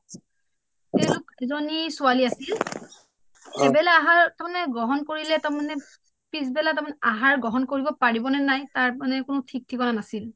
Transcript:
এজনী ছোৱালী আছিল এবেলা আহাৰ গ্ৰহণ কৰিলে তাৰ মানে পিছবেলা তাৰ মানে আহাৰ গ্ৰহণ পাৰিব নে নাই তাৰ মানে কোনো ঠিকনা নাছিল